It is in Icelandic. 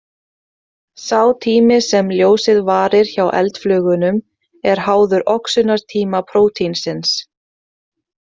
Sá tími sem ljósið varir hjá eldflugunum er háður oxunartíma prótínsins.